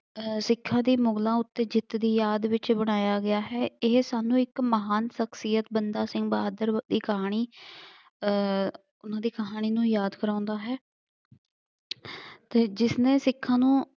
ਸਿੱਖਾਂ ਦੀ ਮੁਗਲਾਂ ਉੱਤੇ ਜਿੱਤ ਦੀ ਯਾਦ ਵਿੱਚ ਬਣਾਇਆ ਗਿਆ ਹੈ। ਇਹ ਸਾਨੂੰ ਇੱਕ ਮਹਾਨ ਸਖਸੀਅਤ ਬੰਦਾ ਸਿੰਘ ਬਹਾਦਰ ਦੀ ਕਹਾਣੀ ਅਹ ਉਹਨਾ ਦੀ ਕਹਾਣੀ ਨੂੰ ਯਾਦ ਕਰਾਉਂਦਾ ਹੈ। ਅਤੇ ਜਿਸਨੇ ਸਿੱਖਾਂ ਨੂੰ